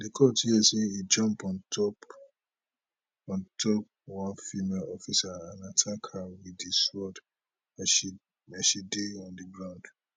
di court hear say e jump on top on top one female officer and attack her wit di sword as she as she dey on di ground